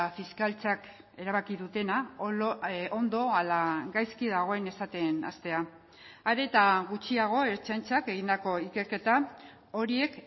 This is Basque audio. fiskaltzak erabaki dutena ondo ala gaizki dagoen esaten hastea are eta gutxiago ertzaintzak egindako ikerketa horiek